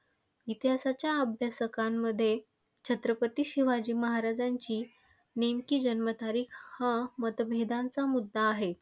इतिहासाच्या अभ्यासकांमध्ये छत्रपती शिवाजी महाराजांची नेमकी जन्म तारीख हा मतभेदांचा मुद्दा आहे.